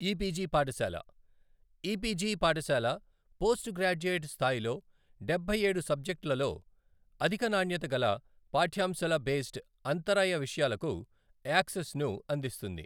EPG పాఠశాల, EPG పాఠసాల post graduate స్థాయిలో డబ్బైఏడు సబ్జెక్టులలో అధిక నాణ్యత గల పాఠ్యాంశాల బేస్డ్ అంతరాయ విషయాలకు యాక్సెస్ ని అందిస్తుంది.